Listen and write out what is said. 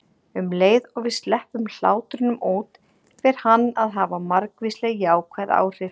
Um leið og við sleppum hlátrinum út fer hann að hafa margvísleg jákvæð áhrif.